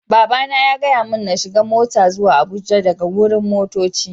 Baba na ya gaya mun n'shiga mota zuwa Abuja daga wurin motoccin.